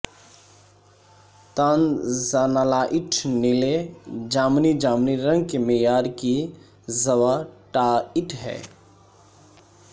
tanzanite نیلے جامنی جامنی رنگ کے معیار کی زوائائٹ ہے